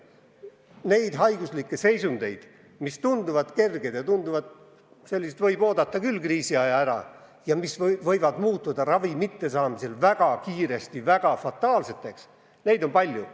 Neid haiguslikke seisundeid, mis tunduvad olevat kerged – nii et võib oodata küll kriisiaja möödumist –, kuid mis võivad ravi mittesaamise korral muutuda väga kiiresti väga fataalseks, on palju.